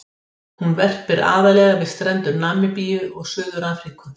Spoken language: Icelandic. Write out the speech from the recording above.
Hún verpir aðallega við strendur Namibíu og Suður-Afríku.